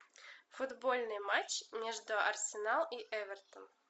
футбольный матч между арсенал и эвертон